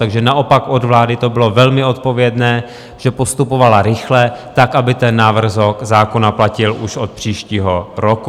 Takže naopak od vlády to bylo velmi odpovědné, že postupovala rychle tak, aby ten návrh zákona platil už od příštího roku.